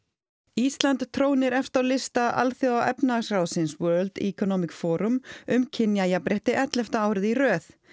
Íslands trónir efst á lista Alþjóðaefnahagsráðsins World Economic Forum um kynjajafnrétti ellefta árið í röð